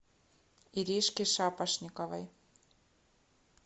иришке шапошниковой